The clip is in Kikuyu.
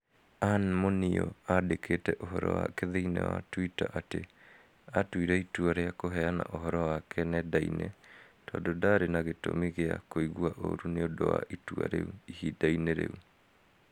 Ann Muniu aandĩkite ũhoro wake thĩinĩ wa Twita atĩ aatuire itua rĩa kũheana ũhoro wake nenda-inĩ tondũ ndaarĩ na gĩtũmi gĩa "kũigua ũũru nĩ ũndũ wa itua rĩu" ihinda-inĩ rĩu.